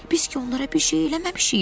Biz ki onlara bir şey eləməmişik.